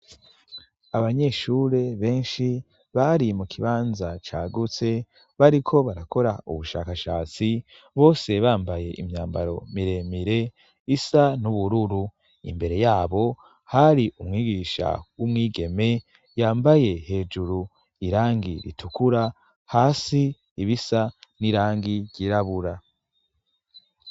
Abanyeshure benshi bari mu kibanza cagutse bariko barakora ubushakashatsi bose bambaye imyambaro miremire isa n'ubururu imbere yabo hari umwigisha w'umwigeme yambaye hejuru irangi ritukura hai si ibisa n'irangi ryirabura.